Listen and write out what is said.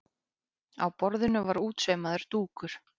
Á borðinu var útsaumaður dúkur.